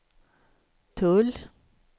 tull